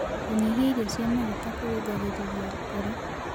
Kũnyĩhĩa irio cia magũta kũrũngagĩrĩrĩa ngoro